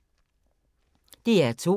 DR2